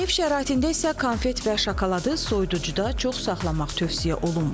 Ev şəraitində isə konfet və şokoladı soyuducuda çox saxlamaq tövsiyə olunmur.